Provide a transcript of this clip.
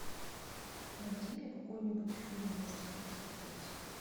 найди мне какой нибудь фильм ужасов посмотреть